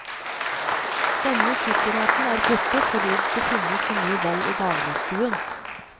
Denne sikkerheten er borte fordi det finnes så mye vold i dagligstuen.